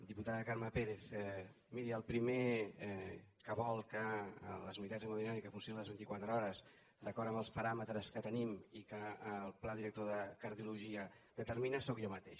diputada carme pérez miri el pri·mer que vol que les unitats d’hemodinàmica funcio·nin les vint·i·quatre hores d’acord amb els paràmetres que tenim i que el pla director de cardiologia determi·na sóc jo mateix